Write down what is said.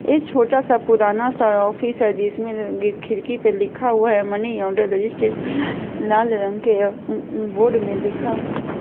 ये छोटा सा पुराना सा ऑफिस है जिसमें खिड़की पे लिखा हुआ है मनी आर्डर रजिस्ट्रेशन लाल रंग के अं अं बोर्ड में लिखा--